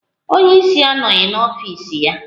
Onye ísí anoghi n'ọfịs ya.